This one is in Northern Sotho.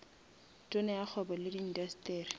tona ya kgwebo le indasteri